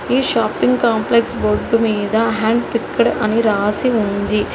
ఈ shopping complex board మీద hand picked అని రాసి ఉంది.